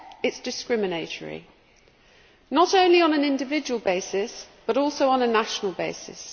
it is discriminatory, not only on an individual basis but also on a national basis.